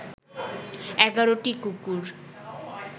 ১১টি কুকুর